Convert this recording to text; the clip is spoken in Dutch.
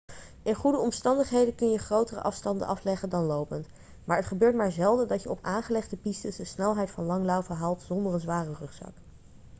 in goede omstandigheden kun je grotere afstanden afleggen dan lopend maar het gebeurt maar zelden dat je op aangelegde pistes de snelheid van langlaufen haalt zonder een zware rugzak